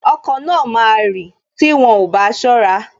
Okọ̀ náà máa rì tí wọn ò bá ṣọ́ra